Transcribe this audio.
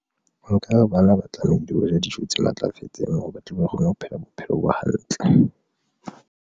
Nka re bana ba tlamehile ho ja dijo tse matlafetseng, hore ba tle ba kgone ho phela bophelo bo hantle.